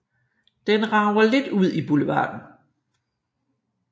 Den rager lidt ud i boulevarden